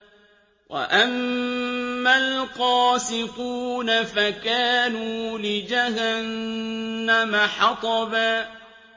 وَأَمَّا الْقَاسِطُونَ فَكَانُوا لِجَهَنَّمَ حَطَبًا